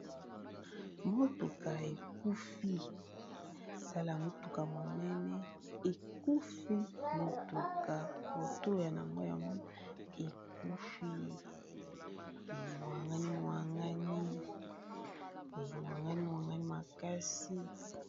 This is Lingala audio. Motuka ekufi, tala motuka monene ekufi motuka moto na yango yango ekufi emwangani mwangani emwangani mwangani makasi.